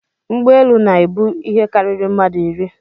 Ụgbọelu na-ebu ihe karịrị mmadụ iri